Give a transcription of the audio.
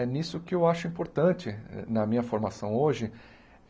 É nisso que eu acho importante na minha formação hoje.